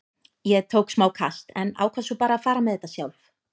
Ég tók smá kast en ákvað svo bara að fara með þetta sjálf.